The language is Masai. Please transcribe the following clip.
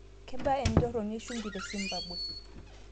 Kebaa entoroni e ushumi tesimbabwe